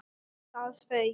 ÞAÐ FAUK!